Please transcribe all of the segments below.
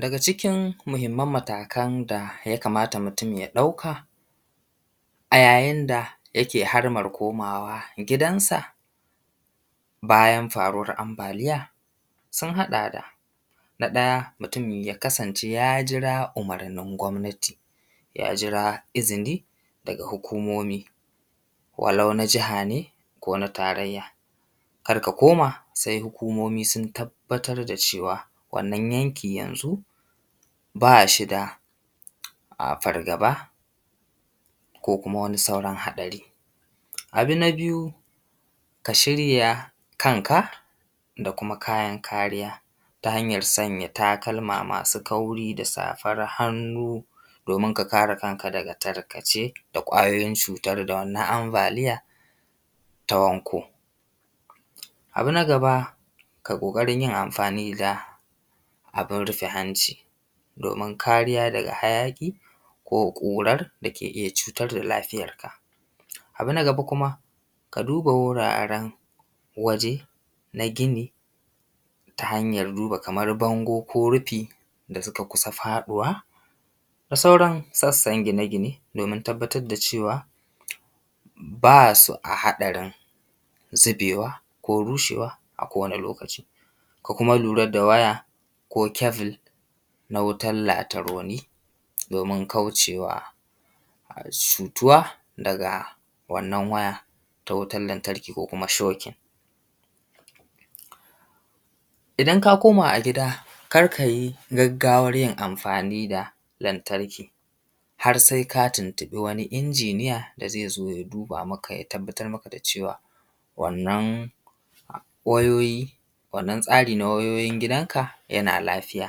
Daga cikin muhimman matakan da ya kamata mutum ya ɗauka a yayin da yake da haraman komawa gidansa bayan faruwan ambaliya, sun haɗa, da na ɗaya, mutum ya kasance ya jira umurnin gwabnati, ya jira izini daga hukumomi, walau na jiha ne, ko na tarayya. Kar ka koma sai hukumomi sun tabbatar da cewa wannan yanki yanzu ba shi da fargaba ko kuma sauran haɗari. Abu na biyu ka shirya kanka da kuma kayan kariya da sanya takalma ma su kauri, da safan hannu, domin ka kare kanka daga tarkace da ƙwayoyin cutar da wannan ambaliyan ta wanko. Abu na gaba kai ƙoƙarin yin amfani da abin rufe hanci domin kariya daga hayaƙi ko ƙuran dake iya cutar da lafiyarka. Abu na gaba kuma ka duba wuraren waje na gini, ta hanyar duba kamar bango ko rufi da suka kusa faɗuwa da sauran sassan gine gine, domin tabbatar da cewa ba su a haɗarin zubewa, ko rushewa, kowane lokaci, ko kuma lura da waya, ko kebul na wutan lataruni domin kaucewa cutuwa daga wannan waya ta wutan lantarki ko kuma shokin. Idan ka koma a gida kar ka yi gaggawan yin amfani da lantarki har sai ka tuntuɓi wani injiniya da zai zo ya duba maka, ya tabbatar maka da cewa wannan wayoyi, wannan tsari na wayoyin gidanka yana lafiya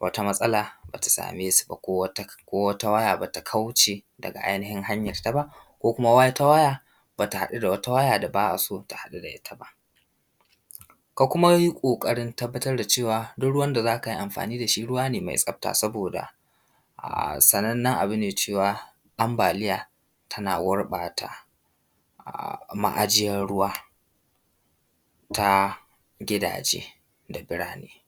wata matsala ba ta same su ba, ko wata waya bata kauce daga ainihin hanyan taba, ko kuma wata waya ba ta haɗu da wata waya ba da ba a son su haɗu da ita ba. Ka kuma yi ƙoƙarin tabbatar da cewa duk ruwan da za kai amfani da shi ruwa ne mai tsafta, saboda sanannan abu ne cewa ambaliya ta na gurbata ma’ajiyan ruwa ta gidaje da birane.